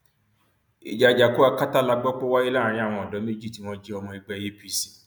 ìjà àjàkú akátá la gbọ pé ó wáyé láàrin àwọn odò méjì tí wọn jẹ ọmọ ẹgbẹ apc